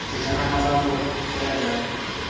sejanaga fa tloga fela jaanong